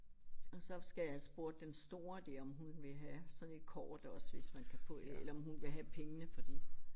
Og så skal jeg have spurgt den store der om hun vil have sådan et kort også hvis man kan få eller om hun vil have pengene for det